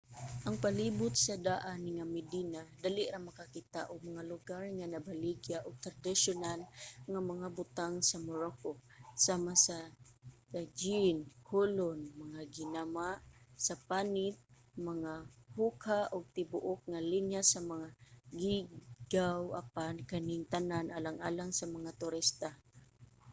sa palibot sa daan nga medina dali ra makakita og mga lugar nga nagbaligya og tradisyonal nga mga butang sa morocco sama sa tagine kulon mga ginama sa panit mga hookah ug tibuok nga linya sa mga geegaw apan kaning tanan alang lang sa mga turista